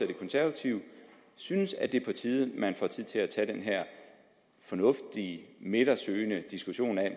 de konservative synes at det er på tide at man får tid til at tage den her fornuftige midtersøgende diskussion af